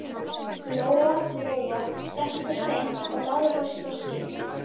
Lóa Lóa settist á stein og lagði frá sér þorskinn.